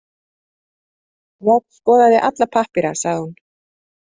Njáll skoðaði alla pappíra, sagði hún.